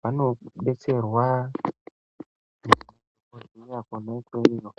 vanodetserwa kurwirwa kwemutoriro.